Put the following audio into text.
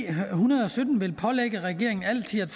hundrede og sytten vil pålægge regeringen altid at